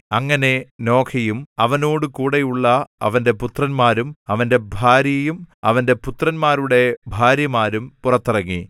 അങ്ങനെ നോഹയും അവനോടുകൂടെയുള്ള അവന്റെ പുത്രന്മാരും അവന്റെ ഭാര്യയും അവന്റെ പുത്രന്മാരുടെ ഭാര്യമാരും പുറത്തിറങ്ങി